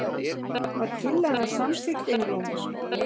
Var tillagan samþykkt einróma.